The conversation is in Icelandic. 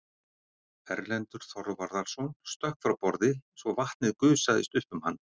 Erlendur Þorvarðarson stökk frá borði svo vatnið gusaðist upp um hann.